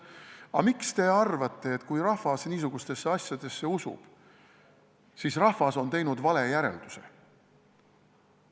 Aga miks te arvate, et kui rahvas niisugustesse asjadesse usub, siis on rahvas teinud vale järelduse?